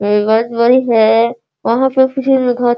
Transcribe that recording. tube light bulb है यहाँ पर किसी ने